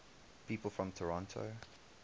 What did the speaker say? people from toronto